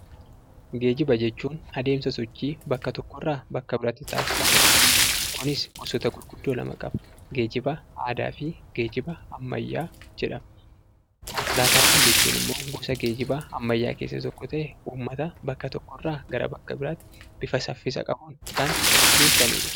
Geejjiba jechuun adeemsa sochii bakka tokkoo bakka biraatti taasifamudha. Kunis gosoota gurguddoo lama qaba: geejjiba aadaafi geejiba ammayyaa jedhama. Konkolaataawwan jechuun ammoo gosa geejjibaa ammayyaawaa keessaa tokko ta'ee, ummata bakka tokko irraa gara bakka biraatti bifa saffisa qabuun kan geessanidha.